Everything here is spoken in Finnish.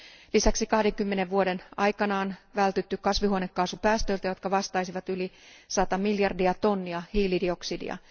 Lisäksi 20 vuoden aikana on vältytty kasvihuonekaasupäästöiltä, jotka vastaisivat yli 100 miljardia tonnia hiilidioksidia.